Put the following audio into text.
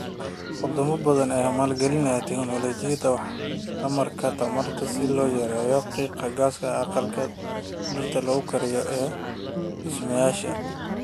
Wadamo badan ayaa maalgalinaya tignoolajiyada waxtarka tamarta si loo yareeyo qiiqa gaaska aqalka dhirta lagu koriyo ee dhismayaasha.